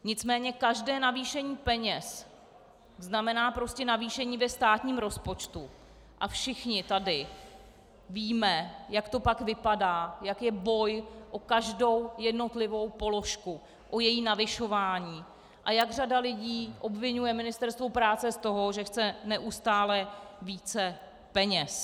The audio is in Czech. Nicméně každé navýšení peněz znamená prostě navýšení ve státním rozpočtu a všichni tady víme, jak to pak vypadá, jak je boj o každou jednotlivou položku, o její navyšování, a jak řada lidí obviňuje Ministerstvo práce z toho, že chce neustále více peněz.